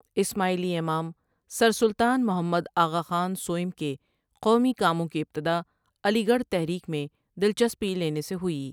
اسماعیلی امام سر سلطان محمد آغاخان سوٸم کے قومی کاموں کی ابتدا علی گڑھ تحریک میں دلچسپی لینے سے ہوئی ۔